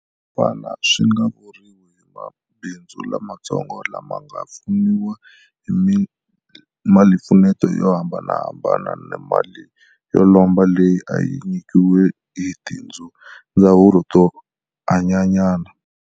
Fana swi nga vuriwa hi mabindzu lamatsongo lama nga pfuniwa hi malimpfuneto yo hambanahambana na mali yo lomba leyi a yi nyikiwa hi tindzawulo to hlayanyana.